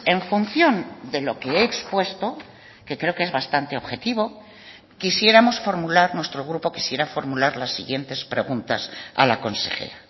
en función de lo que he expuesto que creo que es bastante objetivo quisiéramos formular nuestro grupo quisiera formular las siguientes preguntas a la consejera